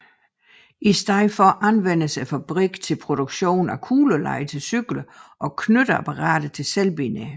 I stedet anvendtes fabrikken til produktion af kuglelejer til cykler og knytteapparater til selvbindere